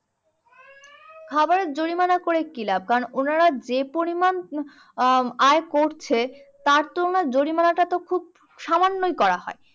খাবারের জরিমানা করি কি লাভ? কারণ উনারা যে পরিমাণ আহ আয় করছে তার তুলনায় জরিমনাটা তো খুব সামান্যই করা হয়।